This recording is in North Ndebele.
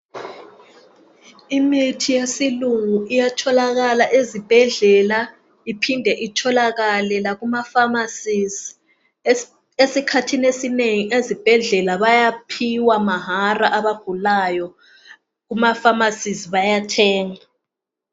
Imithi yesilungu iyatholakala ezibhedlela. Iphinde itholakale lakumapharmacies. Esikhathini esinengi, ezibhedlela, bayaphiwa mahara, abagulayo. Kumapharmacies, bayathenga.